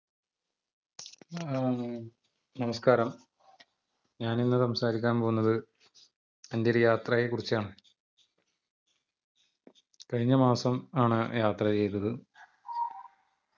ham നമസ്ക്കാരം ഞാൻ ഇന്ന് സംസാരിക്കാൻ പോവുന്നത് എന്റെ ഒരു യാത്രയെകുറിച്ചാണ് കഴിഞ്ഞമാസം ആണ് യാത്ര ചെയ്തത്